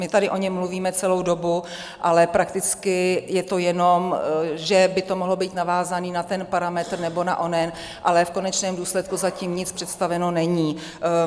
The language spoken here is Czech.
My tady o něm mluvíme celou dobu, ale prakticky je to jenom, že by to mohlo být navázané na ten parametr nebo na onen, ale v konečném důsledku zatím nic představeno není.